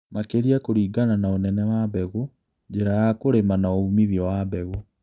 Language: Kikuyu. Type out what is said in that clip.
Makĩria kũlingana na ũnene wa mbegũ, njĩra ya kũlĩma na ũmithio wa mbegũ